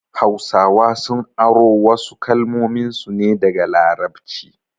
Hausawa sun aro wasu kalmominsu ne daga larabci